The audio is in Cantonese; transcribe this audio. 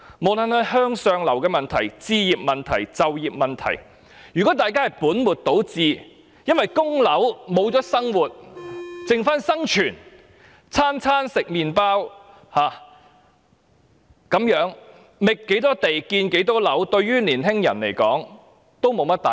不論是向上流動的問題、置業問題或就業問題，如果大家本末倒置，因為供樓而失去了生活，只剩下生存，每餐只吃麵包，那麼不管覓多少地、建多少樓，對青年人而言也意思不大。